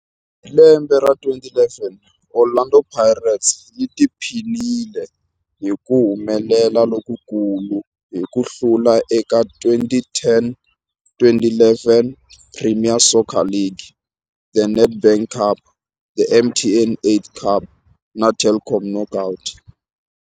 Hi lembe ra 2011, Orlando Pirates yi tiphinile hi ku humelela lokukulu hi ku hlula eka 2010-1 Premier Soccer League, The Nedbank Cup, The MTN 8 Cup na The Telkom Knockout.